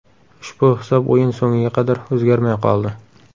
Ushbu hisob o‘yin so‘ngiga qadar o‘zgarmay qoldi.